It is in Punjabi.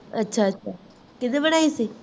ਅੱਛਾ-ਅੱਛਾ ਕੀਨੇ ਬਣਾਇ ਸੀ?